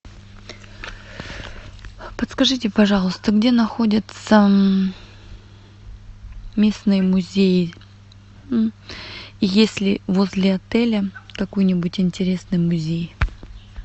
подскажите пожалуйста где находятся местные музеи есть ли возле отеля какой нибудь интересный музей